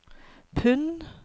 pund